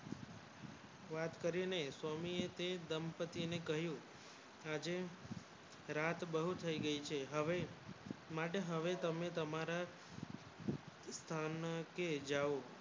વાત કરીને સ્વામી શે દંપત્તિ ને કહ્યું રાજે રાત બહુત થયી ગયું છે હવે માટે હવે તમને તમારા સ્થાન કે જાઉં